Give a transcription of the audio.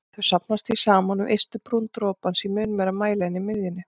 Þau safnast því saman við ystu brún dropans í mun meiri mæli en í miðjunni.